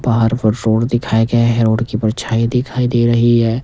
बाहर वो रोड दिखाया गया है रोड की परछाई दिखाई दे रही है।